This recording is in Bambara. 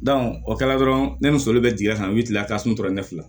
o kɛla dɔrɔn ne muso bɛ jigi ka n'i kila ka suntora ɲɛfili